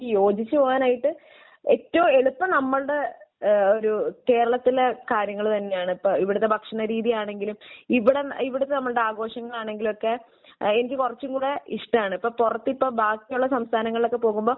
യോജിച്ച് പോകാനായിട്ട് ഏറ്റവും എളുപ്പം നമ്മളുടെ ഏഹ് ഒരു കേരളത്തിന്റെ കാര്യങ്ങൾ തന്നെയാണ്. ഇപ്പോൾ ഇവിടുത്തെ ഭക്ഷണ രീതിയാളാണെങ്കിലും ഇവിട ഇവിടത്തെ നമ്മളുടെ ആഘോഷങ്ങളാണെങ്കിലുമൊക്കെ എനിക്ക് കുറച്ചും കൂടെ ഇഷ്ടമാണ്. ഇപ്പോൾ പുറത്ത് ഇപ്പോൾ ബാക്കിയുള്ള സംസ്ഥാനങ്ങളിലോക്കെ പോകുമ്പോൾ